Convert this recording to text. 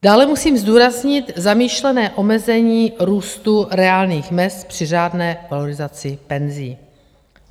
Dále musím zdůraznit zamýšlené omezení růstu reálných mezd při řádné valorizaci penzí.